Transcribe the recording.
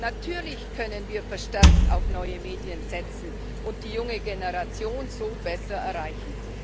Natürlich können wir verstärkt auf neue Medien setzen und die junge Generation so besser erreichen.